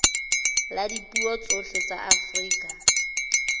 la dipuo tsohle tsa afrika